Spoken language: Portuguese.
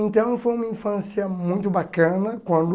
Então foi uma infância muito bacana quando